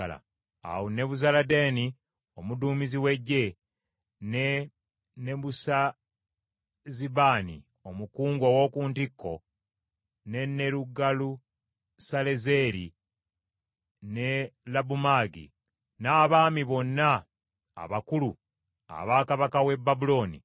Awo Nebuzaladaani omuduumizi w’eggye, ne Nebusazibaani omukungu ow’oku ntikko ne Nerugalusalezeeri, ne Labumagi, n’abakungu bonna aba kabaka w’e Babulooni,